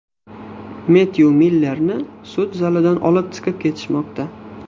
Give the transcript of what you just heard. Mettyu Millerni sud zalidan olib chiqib ketishmoqda.